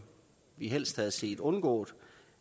vi helst havde set undgået